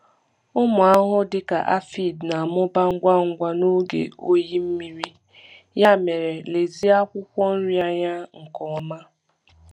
Ụmụ ahụhụ dịka aphid na-amụba ngwa ngwa n’oge oyi mmiri, oyi mmiri, ya mere lezie akwụkwọ nri anya nke ọma.